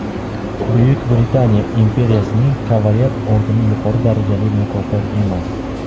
Buyuk Britaniya imperiyasining kavaler ordeni yuqori darajali mukofot emas.